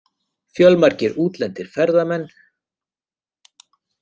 Fjölmargir útlendir ferðamenn